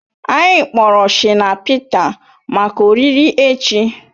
Anyị kpọrọ Shina Pịta maka oriri echi